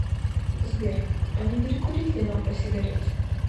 сбер а не перекурить ли нам по сигарете